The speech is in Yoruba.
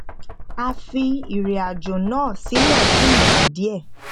a fi ìrìnàjò náà sílẹ fún igba díẹ